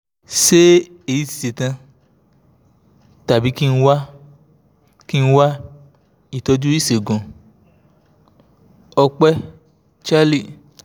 ṣé èyí ṣe tán tàbí kí n wá kí n wá ìtọ́jú ìṣègùn? ọ̀pẹ́ charlie